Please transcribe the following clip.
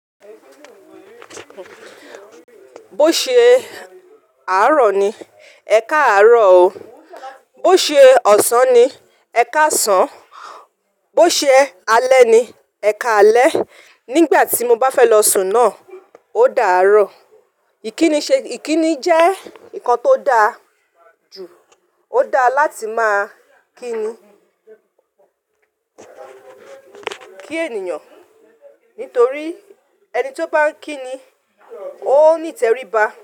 Bó ṣe àárọ̀ ni, ẹka àárọ̀ o, bó ṣe ọ̀sán ni, ẹka ọ̀sán, bó ṣe alẹ́ ni, ẹka alẹ́. Nígbà tí mo bá fẹ́ lọ sùn náà, ó dàá rọ. Ìkíni jẹ́ nǹkan tó dáa jù, ó dáa láti máa kíni, kí ènìyàn. Nítorí ẹni tí ó bá ń kíni ó ní ìtẹríba.